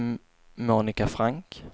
Monika Frank